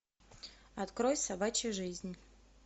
открой собачья жизнь